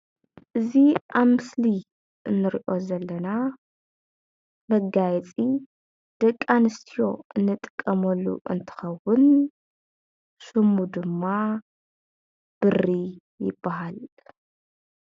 እዚ አብ ምስሊ እንርኦ ዘለና መጋየፂ ደቂ አንስትዮ እንጥቀመሉ እንትኸውን ሹሙ ድማ ብሪ ይባሃል፡፡